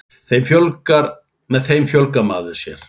Með þeim fjölgar maður sér.